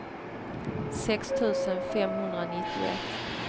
sex tusen femhundranittioett